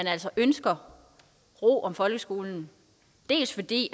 altså ønsker ro om folkeskolen dels fordi